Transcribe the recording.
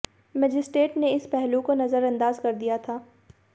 magistrate ने इस पहलू को नजरअंदाज कर दिया था